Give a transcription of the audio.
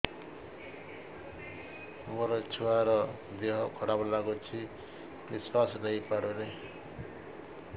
ମୋ ଛୁଆର ଦିହ ଖରାପ ଲାଗୁଚି ନିଃଶ୍ବାସ ନେଇ ପାରୁନି